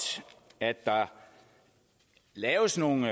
at der laves nogle